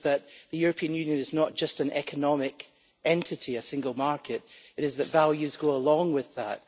it is that the European Union is not just an economic entity, a single market, it is that values go along with that